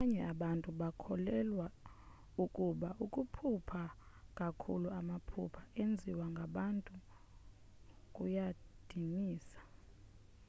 abanye abantu bakholelwa ukuba ukuphupha kakhuluamaphupha enziwe ngabantu kuyadinisa